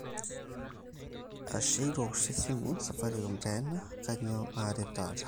ashe itoosho esimu, safaricom taa ena kainyoo aaret taata